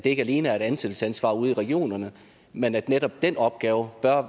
ikke alene er et ansættelsesansvar ude i regionerne men at netop den opgave bør